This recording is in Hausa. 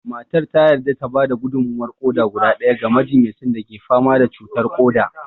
Matar ta yarda ta ba da gudummawar ƙoda guda ɗaya ga majinyacin da ke fama da cutar ƙoda